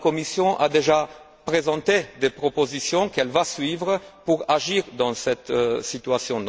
La Commission a déjà présenté des propositions qu'elle va suivre pour agir face à cette situation.